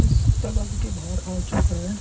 इस तालाब के बाहर आ चुका है।